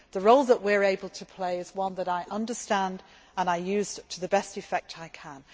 role. The role that we are able to play is one that I understand and I use to the best effect